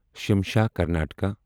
Shimsha Karnataka